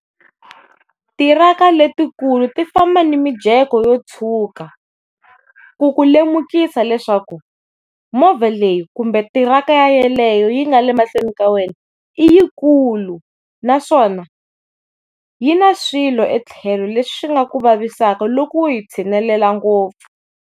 Tiraka letikulu ti famba na mijeko yo tshuka ku ku lemukisa leswaku movha leyi kumbe tiraka ya leyo yi nga le mahlweni ka wena yi kulu naswona yi na swilo etlhelo leswi nga ku vavisaka loko u yi tshinelela ngopfu.